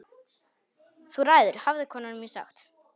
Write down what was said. Þú ræður hafði kona mín sagt.